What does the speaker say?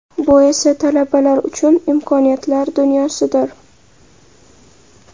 Bu esa talabalar uchun imkoniyatlar dunyosidir.